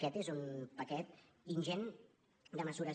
aquest és un paquet ingent de mesures